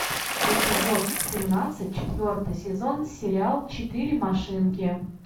эпизод семнадцать четвертый сезон сериал четыре машинки